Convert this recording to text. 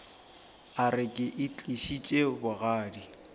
a re ke itlišitše bogadi